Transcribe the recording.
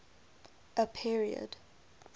a period